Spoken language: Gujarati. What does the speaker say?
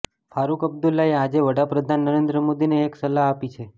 ફારુક અબ્દુલ્લાએ આજે વડા પ્રધાન નરેન્દ્ર મોદીને એક સલાહ આપી છે